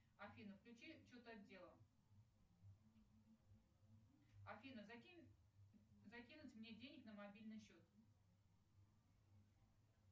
афина включи чет отдела афина закинь закинуть мне денег на мобильный счет